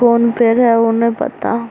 कौन पेड़ है उ ने पता।